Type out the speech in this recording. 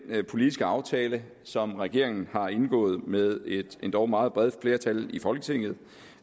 politiske aftale som regeringen har indgået med et endog meget bredt flertal i folketinget